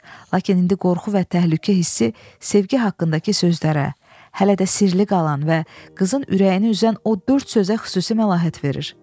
Lakin indi qorxu və təhlükə hissi sevgi haqqındakı sözlərə, hələ də sirli qalan və qızın ürəyini üzən o dörd sözə xüsusi məlahət verir.